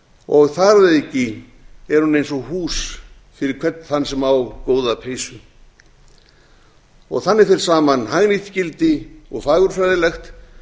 og þar að auki er hún eins og hús fyrir hvern þann sem á góða peysu þannig fer saman hagnýtt gildi og fagurfræðilegt